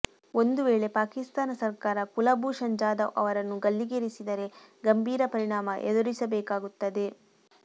ಒಂದು ವೇಳೆ ಪಾಕಿಸ್ತಾನ ಸರ್ಕಾರ ಕುಲಭೂಷಣ್ ಜಾಧವ್ ಅವರನ್ನು ಗಲ್ಲಿಗೇರಿಸಿದರೆ ಗಂಭೀರ ಪರಿಣಾಮ ಎದುರಿಸಬೇಕಾಗುತ್ತದೆ